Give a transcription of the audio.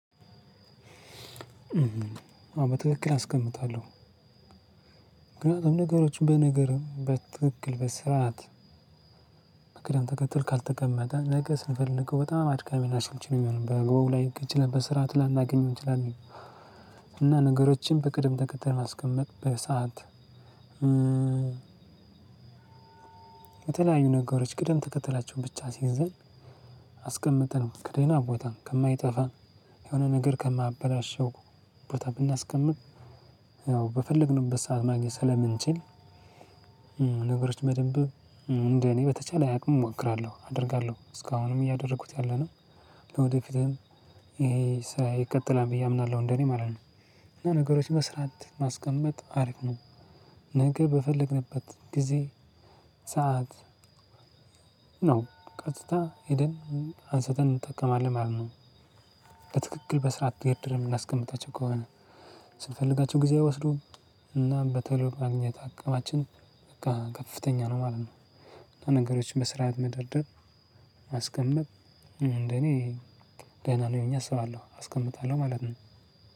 በትክክል አስቀምጣለሁ። ምክንያቱም ነገሮችን በነገርም በትክክል በስራ ናት። በቅደም ተከትል ካልተቀመጠ ነገ ስንፈልገው በጣም አድካሚ ናሽንችን የሚሆነው በጎ ላይ ልክ ችለን በስራ ትላንታገኘው እንችላለን። እና ነገሮችን በቅደም ተከተል ማስቀመጥ በሰአት። የተለያዩ ነገሮች ቅደም ተከተላቸው ብቻ ስይዝ። አስቀምጠን ከደህና ቦታ ከማይጠፋ የሆነ ነገር ከማበላሸው ቦታ ብናስቀምጥ ያው በፈለግንበት ሰዓት ማግኘት ስለምንችል። ነገሮች መደንበብ እንደ እኔ በተቻለ አቅም እሞክራለሁ አደርጋለሁ እስካሁንም እያደረጉት እያለ ነው። ወደፊትም ይሄ ይቀጥላል ብዬ አምናለሁ። እንደኔ ማለት ነው። ነገሮች በስራት ማስቀመጥ አሪፍ ነው። ነገ በፈለግንበት ጊዜ ሰዓት ነው። ቀጥታ ሄደን አንስተን እንጠቀማለን ማለት ነው። በትክክል በስርዓት የት? ነው ምናስቀምጣቸው ከሆነ ስንፈልጋቸው ጊዜ አይወስዱም። እና በተለይ የማግኘት አቅማችን በቃ ከፍተኛ ነው ማለት ነው። ነገሮችን በስራው መደርደር አስቀመጥ እኔ ገና ነው የሚሆነው አስባለሁ አስቀምጣለሁ ማለት ነው።